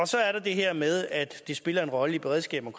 så er der det her med at det spiller en rolle i beredskabet